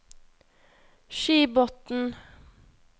Skibotn